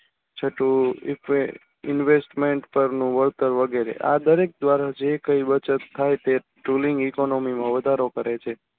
છઠ્ઠું investment ઉપરનું worker વગેરે આ દરેક દ્વારા જે જે કંઈ બચત થાય તે tooling economy માં વધારો કરે છે.